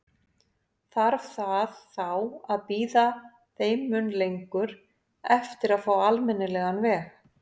Þarf það þá að bíða þeim mun lengur eftir að fá almennilegan veg?